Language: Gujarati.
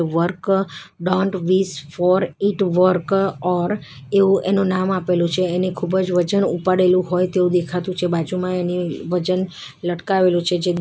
work don't wish for it work or એવું એનું નામ આપેલું છે એની ખૂબ જ વજન ઉપાડેલું હોય તેવું દેખાતું છે બાજુમાં એની વજન લટકાવેલું છે જેનું --